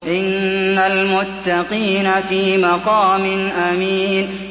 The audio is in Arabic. إِنَّ الْمُتَّقِينَ فِي مَقَامٍ أَمِينٍ